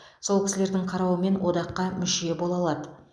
сол кісілердің қарауымен одаққа мүше бола алады